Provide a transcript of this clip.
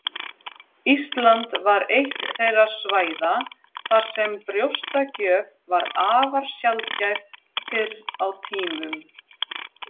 Ísland var eitt þeirra svæða þar sem brjóstagjöf var afar sjaldgæf fyrr á tímum.